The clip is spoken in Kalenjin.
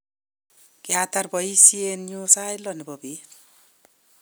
kiatar boisienyu sait lo nebo beet